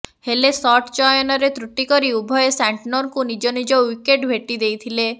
ହେଲେ ସଟ୍ ଚୟନରେ ତ୍ରୁଟି କରି ଉଭୟେ ସାଣ୍ଟନରଙ୍କୁ ନିଜ ନିଜ ୱିକେଟ୍ ଭେଟି ଦେଇଥିଲେ